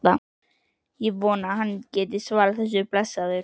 Það er ekki von að hann geti svarað þessu, blessaður.